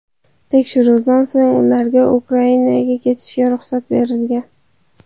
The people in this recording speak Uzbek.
Tekshiruvdan so‘ng ularga Ukrainaga ketishga ruxsat berilgan.